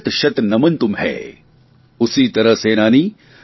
उसी तरह सेनानी मेरा भी है शतशत नमन तुम्हैं